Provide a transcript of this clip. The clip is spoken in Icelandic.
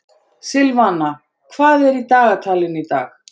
Silvana, hvað er í dagatalinu í dag?